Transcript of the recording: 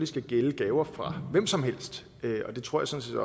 skal gælde gaver fra hvem som helst og det tror sådan